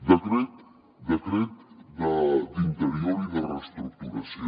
decret d’interior i de reestructuració